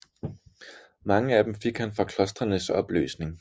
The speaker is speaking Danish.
Mange af dem fik han fra klostrenes opløsning